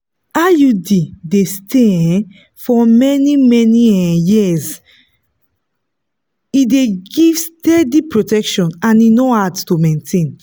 iud dey stay um for many-many um years e dey give steady protection and e no hard to maintain.